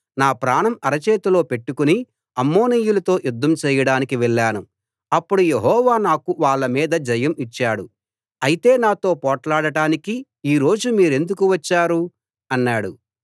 నా ప్రాణం అరచేతిలో పెట్టుకుని అమ్మోనీయులతో యుద్ధం చెయ్యడానికి వెళ్ళాను అప్పుడు యెహోవా నాకు వాళ్ళ మీద జయం ఇచ్చాడు అయితే నాతో పోట్లాడటానికి ఈ రోజు మీరెందుకు వచ్చారు అన్నాడు